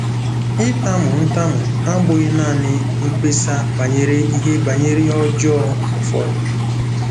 Ịtamu ntamu abụghị nanị mkpesa banyere ihe banyere ihe ọjọọ ụfọdụ.